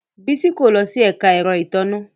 Bisola ko lo si ẹka ẹrọ itanna